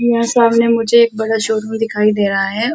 यहाँ सामने मुझे एक एक बड़ा शोरूम दिखाई दे रहा है।